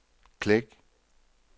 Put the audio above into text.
klik